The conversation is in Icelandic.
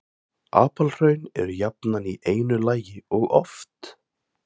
Apalhraun eru jafnan í einu lagi og oft